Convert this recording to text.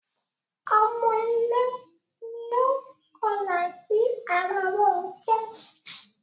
Ọmọlé ni ó kọlà sí ara Rónkẹ́.